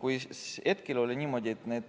Kui hetkel on niimoodi, et nii